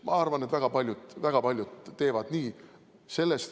Ma arvan, et väga paljud teevad nii.